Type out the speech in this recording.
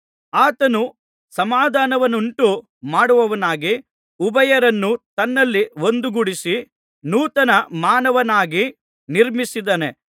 ಆತನು ಸಮಾಧಾನವನ್ನುಂಟು ಮಾಡುವವನಾಗಿ ಉಭಯರನ್ನೂ ತನ್ನಲ್ಲಿ ಒಂದುಗೂಡಿಸಿ ನೂತನ ಮಾನವನನ್ನಾಗಿ ನಿರ್ಮಿಸಿದ್ದಾನೆ